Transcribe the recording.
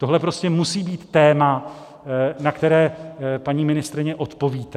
Tohle prostě musí být téma, na které, paní ministryně, odpovíte.